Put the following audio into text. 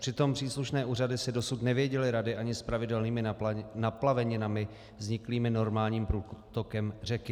Přitom příslušné úřady si dosud nevěděly rady ani s pravidelnými naplaveninami vzniklými normálním průtokem řeky.